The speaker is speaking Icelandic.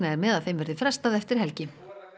er með að þeim verði frestað eftir helgina